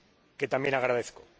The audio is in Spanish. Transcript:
que también agradezco.